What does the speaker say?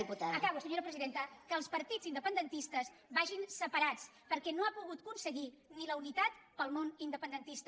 acabo senyora presidenta que els partits independentistes vagin separats perquè no ha pogut aconseguir ni la unitat per al món independentista